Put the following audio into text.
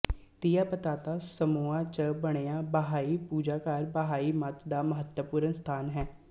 ਤਿਆਪਤਾਤਾ Samoa ਚ ਬਣਿਆ ਬਹਾਈ ਪੂਜਾਘਰ ਬਹਾਈ ਮੱਤ ਦਾ ਮਹੱਤਵਪੂਰਨ ਸਥਾਨ ਹੈ